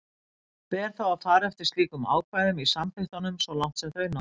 Ber þá að fara eftir slíkum ákvæðum í samþykktunum svo langt sem þau ná.